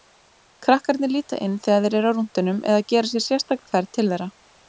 Krakkarnir líta inn þegar þeir eru á rúntinum eða gera sér sérstaka ferð til þeirra.